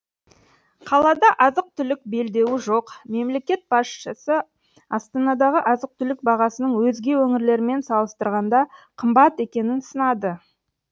қалада азық түлік белдеуі жоқмемлекет басшысы астанадағы азық түлік бағасының өзге өңірлермен салыстырғанда қымбат екенін сынады